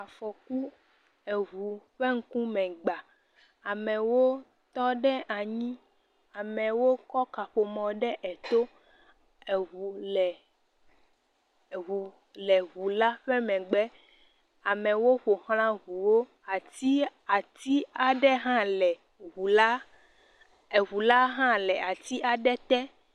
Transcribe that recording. Afɔku, eŋu ƒe ŋkume gba. Amewo tɔ ɖe anyi. Amewo kɔ kaƒomɔ ɖe eto. Eŋu le, eŋu le ŋula ƒe megbe. Amewo ƒo ʋlã ŋuwo. Ati, ati aɖe hã le ŋula, eŋula hã le ati aɖe te.